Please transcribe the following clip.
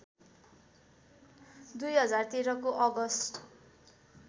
२०१३ को अगस्ट